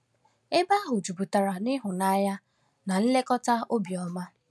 Ebe ahụ juputara n’ịhụnanya na nlekọta obiọma.